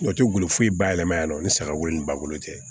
O tɛ golo foyi ba yɛlɛma yan ni sagako ni bakolo tɛ